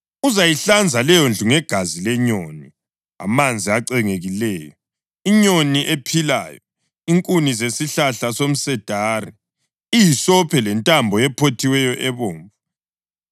Uzayihlanza leyondlu ngegazi lenyoni, amanzi acengekileyo, inyoni ephilayo, inkuni zesihlahla somsedari, ihisophi lentambo ephothiweyo ebomvu.